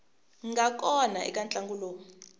nga kona eka ntlangu lowu